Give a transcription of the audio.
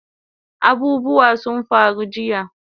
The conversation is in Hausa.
Abubuwa sun faru jiya